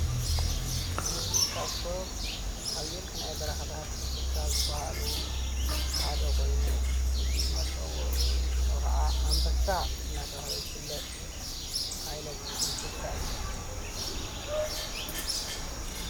እዚ ካብቶም ሓየልቲ ናይ በረኻታት እንስሳ ዝበሃሉ ሓደ ኮይኑ ፍሉይ መፀዊዒዑ ሽሙ ከዓ ኣንበሳ! እንዳተባሃለ ዝፍለጥ ዓይነት እንስሳ እዩ።